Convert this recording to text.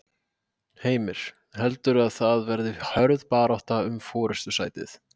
Heimir: Heldurðu að það verði hörð barátta um forystusætið?